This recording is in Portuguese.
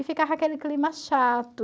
E ficava aquele clima chato.